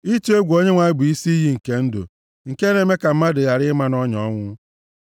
Ịtụ egwu Onyenwe anyị bụ isi iyi nke ndụ; nke na-eme ka mmadụ ghara ịma nʼọnya ọnwụ.